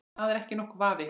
Það er ekki nokkur vafi.